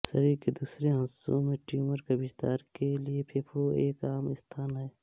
शरीर के दूसरे हस्सों से ट्यूमर के विस्तार के लिए फेफड़ा एक आम स्थान है